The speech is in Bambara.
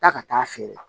Taa ka taa feere la